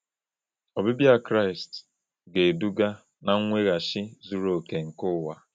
Ọbịbịa Kraịst ga-eduga na mweghachi zuru oke nke ụwa.